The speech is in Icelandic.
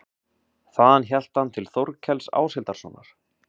Þaðan hélt hann til Þórkels Áshildarsonar.